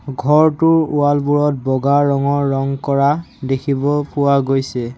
ঘৰটোৰ ৱাল বোৰত বগা ৰঙৰ ৰং কৰা দেখিব পোৱা গৈছে।